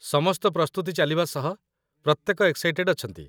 ସମସ୍ତ ପ୍ରସ୍ତୁତି ଚାଲିବା ସହ ପ୍ରତ୍ୟେକ ଏକ୍ସାଇଟେଡ଼ ଅଛନ୍ତି